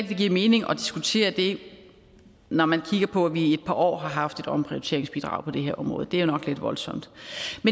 det giver mening at diskutere det når man kigger på at vi i et par år har haft et omprioriteringsbidrag på det her område det er nok lidt voldsomt